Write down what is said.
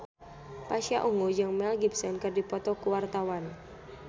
Pasha Ungu jeung Mel Gibson keur dipoto ku wartawan